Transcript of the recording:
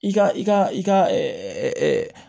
I ka i ka i ka